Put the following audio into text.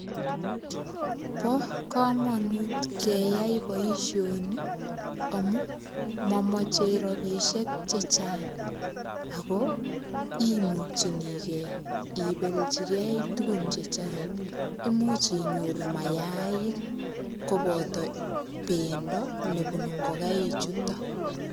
Bo komonut keyai boisoni, amu mamache rabisiek chechang. Ako imuchinigei ibelchikei tugun chechang. Imuch inyoru mayaik, koboto pendo nebunu ngokaik chuton.